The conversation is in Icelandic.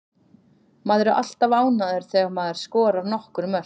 Maður er alltaf ánægður þegar maður skorar nokkur mörk.